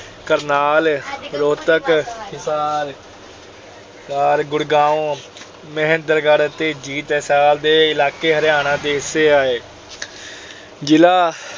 ਕਰਨਾਲ ਰੋਹਤਕ ਹਿਸਾਰ, ਗੁੜਗਾਉਂ, ਮਹੇਂਦਰਗੜ੍ਹ ਤੇ ਜਿੰਦ, ਹਿਸਾਰ ਦੇ ਇਲਾਕੇ ਹਰਿਆਣਾ ਜ਼ਿਲ੍ਹੇ ਦੇ ਹਿੱਸੇ ਆਏ। ਜ਼ਿਲ੍ਹਾ